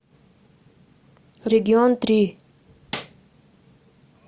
регион три